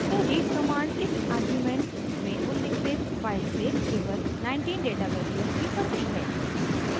तो read command इस argument में उल्लिखित फाइल से केवल 19 डेटा वैल्यूज़ ही पढ़ती है